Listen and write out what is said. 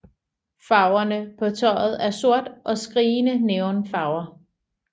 Farverne på tøjet er sort og skrigende neon farver